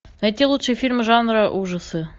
найти лучшие фильмы жанра ужасы